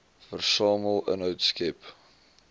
versamel inhoud skep